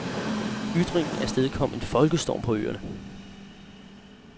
Ytringen afstedkom en folkestorm på øerne.